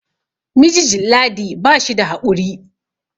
mijijn ladi ba shi da haƙuri